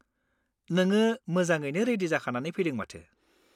नोंङो मोजाङैनो रेडि जाखानानै फैदों माथो।